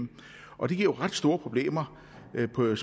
jo ret store problemer